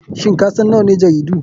Shin kasan nawane jaridu?